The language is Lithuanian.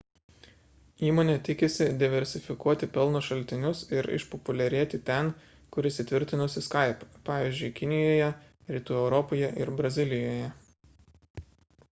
įmonė tikisi diversifikuoti pelno šaltinius ir išpopuliarėti ten kur įsitvirtinusi skype pavyzdžiui kinijoje rytų europoje ir brazilijoje